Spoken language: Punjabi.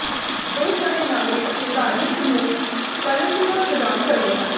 ਬਹੁਤ ਸਾਰੇ ਨਾਗਰਿਕ ਅਤੇ ਧਾਰਮਿਕ ਸਮੂਹ ਸਕਾਲਰਸ਼ਿਪਾਂ ਪ੍ਰਦਾਨ ਕਰਦੇ ਹਨ